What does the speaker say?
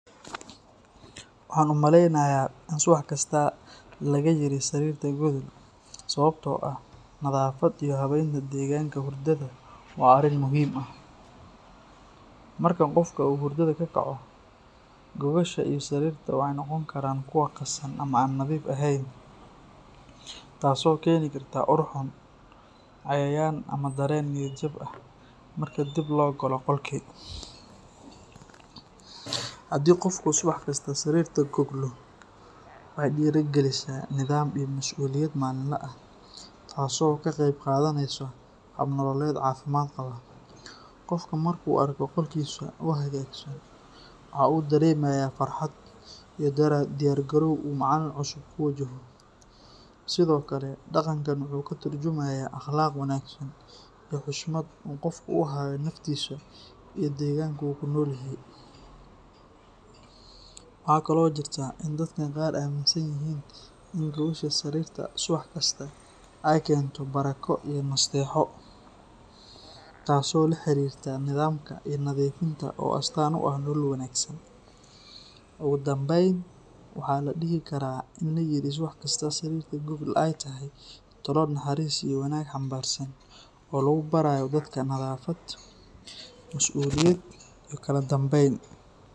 Waxaan u maleynayaa in subax kasta laga yiri sarirta gogol sababtoo ah nadaafadda iyo habaynta deegaanka hurdada waa arrin muhiim ah. Marka qofka uu hurdada ka kaco, gogosha iyo sariirta waxa ay noqon karaan kuwo qasan ama aan nadiif ahayn, taasoo keeni karta ur xun, cayayaan ama dareen niyad jab ah marka dib loo galo qolkii. Haddii qofku subax kasta sariirta goglo, waxay dhiirrigelisaa nidaam iyo mas’uuliyad maalinle ah, taasoo ka qeyb qaadaneysa hab nololeed caafimaad qaba. Qofka marka uu arko qolkiisa oo hagaagsan, waxa uu dareemayaa farxad iyo diyaar garow uu maalin cusub ku wajaho. Sidoo kale, dhaqankan wuxuu ka tarjumayaa akhlaaq wanaagsan iyo xushmad uu qofku u hayo naftiisa iyo deegaanka uu ku nool yahay. Waxaa kaloo jirta in dadka qaar aaminsan yihiin in gogosha sariirta subax kasta ay keento barako iyo nasteexo, taasoo la xiriirta nidaamka iyo nadiifta oo astaan u ah nolol wanaagsan. Ugu dambayn, waxaa la dhihi karaa in layiri subax kasta sariirta gogol ay tahay talo naxariis iyo wanaag xambaarsan oo lagu barayo dadka nadaafad, masuuliyad iyo kala dambeyn.